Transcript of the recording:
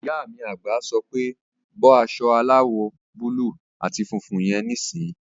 Ìyá mi àgbà sọ pé "bọ́ aṣọ aláwọ̀ búúlù àti funfun yẹn níìsín!"